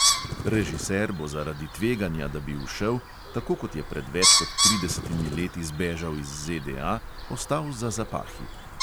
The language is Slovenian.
Režiser bo zaradi tveganja, da bi ušel, tako kot je pred več kot tridesetimi leti zbežal iz ZDA, ostal za zapahi.